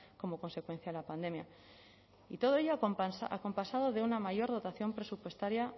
como consecuencia de la pandemia y todo ello acompasado de una mayor dotación presupuestaria